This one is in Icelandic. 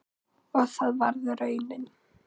Og það varð raunin.